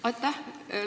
Aitäh!